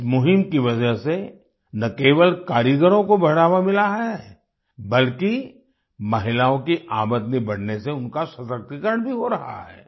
इस मुहिम की वजह से न केवल कारीगरों को बढ़ावा मिला है बल्कि महिलाओं की आमदनी बढ़ने से उनका सशक्तिकरण भी हो रहा है